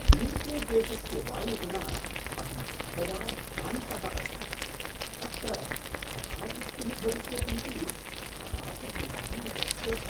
यू.के.देशस्य वायुगुणात् अहं सर्वदा भ्रान्तः अस्मि। अत्र कदा वृष्टिः भविष्यति इति कदापि ज्ञातुं न शक्यते।